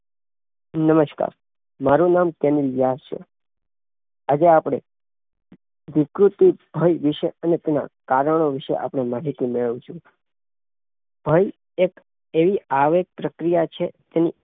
નમસ્કાર નામ ફેનિલ વ્યાસ છે. આજે અપડે ઋતુરુંત ભય વિષે અને તેના કારણો વિષે માહિતી મેળવશું ભય એક એવી આરોપ પ્રક્રિયા છે તેની